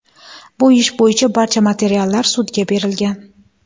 Bu ish bo‘yicha barcha materiallar sudga berilgan.